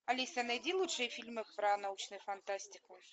алиса найди лучшие фильмы про научную фантастику